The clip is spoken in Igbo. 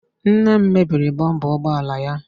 Nne m mebiri bọmpa ụgbọ ala ya